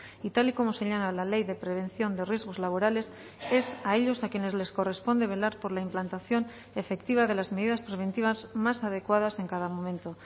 y tal y como señala la ley de prevención de riesgos laborales es a ellos a quienes les corresponde velar por la implantación efectiva de las medidas preventivas más adecuadas en cada momento